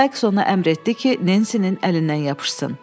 Saiks ona əmr etdi ki, Nensinin əlindən yapışsın.